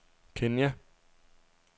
Kenya